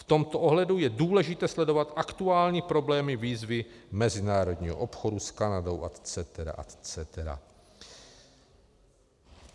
V tomto ohledu je důležité sledovat aktuální problémy výzvy mezinárodního obchodu s Kanadou etc., etc.